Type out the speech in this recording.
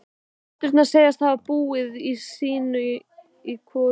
Systurnar segjast hafa búið sín í hvoru húsi.